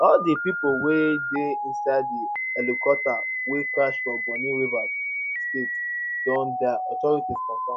all di pipo wey dey inside di helicopter wey crash for bonny rivers state don die authorities confam